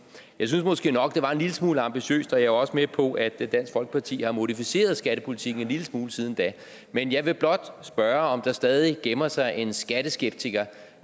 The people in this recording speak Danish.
jeg synes måske nok det var en lille smule ambitiøst og jeg er også med på at dansk folkeparti har modificeret skattepolitikken en lille smule siden da men jeg vil blot spørge om der stadig gemmer sig en skatteskeptiker